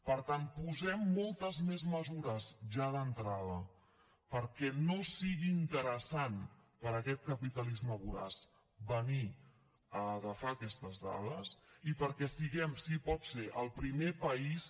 per tant posem moltes més mesures ja d’entrada perquè no sigui interessant per a aquest capitalisme voraç venir a agafar aquestes dades i perquè siguem si pot ser el primer país